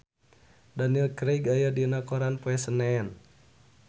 Daniel Craig aya dina koran poe Senen